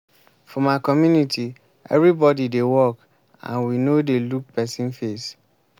for my community everybody dey work and we no dey look person face